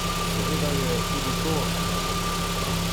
Seveda je tudi to ena možnih razlag.